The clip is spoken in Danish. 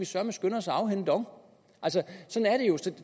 søreme skynde os at afhænde dong og